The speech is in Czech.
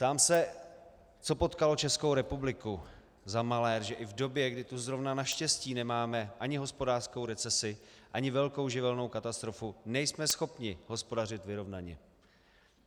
Ptám se, co potkalo Českou republiku za malér, že i v době, kdy tu zrovna naštěstí nemáme ani hospodářskou recesi, ani velkou živelní katastrofu, nejsme schopni hospodařit vyrovnaně.